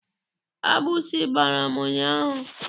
Agbụsị gbara m ụnyaahụ.